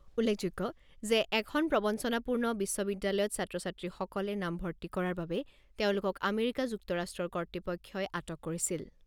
উল্লেখযোগ্য যে এখন প্ৰৱঞ্চনাপূৰ্ণ বিশ্ববিদ্যালয়ত ছাত্ৰ ছাত্ৰীসকলে নামভৰ্তি কৰাৰ বাবে তেওঁলোকক আমেৰিকা যুক্তৰাষ্ট্ৰৰ কৰ্তৃপক্ষই আটক কৰিছিল।